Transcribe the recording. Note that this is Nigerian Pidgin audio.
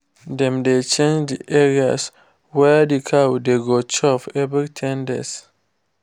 dem dey change the areas wey d cow dey go chop every ten days